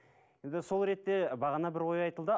енді сол ретте бағана бір ой айтылды